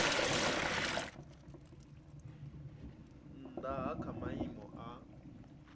nnda ha kha maimo a